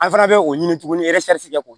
An fana bɛ o ɲini tugunni k'o